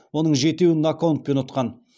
оның жетеуін нокаутпен ұтқан